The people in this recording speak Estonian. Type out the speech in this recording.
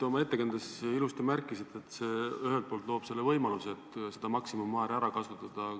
Oma ettekandes te ilusti märkisite, et see ühelt poolt loob võimaluse seda maksimummäära ära kasutada.